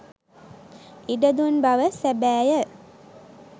ඉඩ දුන් බව සැබෑය.